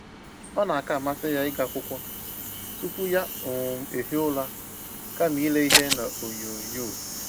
Ọ na aka amasị ya ịgụ akwụkwọ tupu ya um ehie ụra kama ile ihe na onyoo nyoo